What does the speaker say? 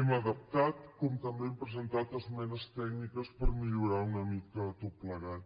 hem adaptat com també hem presentat esmenes tècniques per millorar ho una mica tot plegat